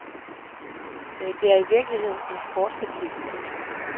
Det er i virkeligheden en sportsetik. punktum